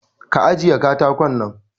Ka ajiye katakon nan!